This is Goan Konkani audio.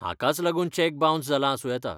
हाकाच लागून चेक बाऊन्स जाला आसूं येता.